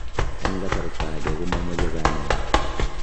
En kasarta age, komomoche kanyaet.